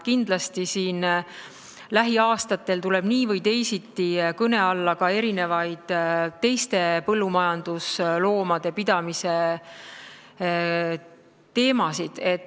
Kindlasti tuleb lähiaastatel nii või teisiti kõne alla ka teiste põllumajandusloomade pidamise teemasid.